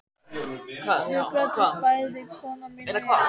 Við glöddumst bæði, kona mín og ég